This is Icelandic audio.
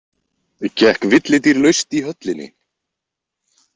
Gekk villidýr laust í höllinni?